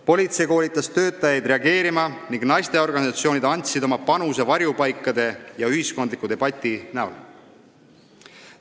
Politsei koolitas töötajaid nendele reageerima ning naisteorganisatsioonid andsid oma panuse varjupaikade ja ühiskondliku debati näol.